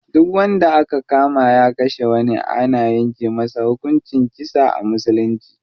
Duk wanda aka kama ya kashe wani ana yanke masa hukuncin kisa a musulunci.